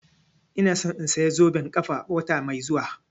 Ina so in saya zoben ƙafa wata mai zuwa